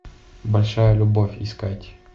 большая любовь искать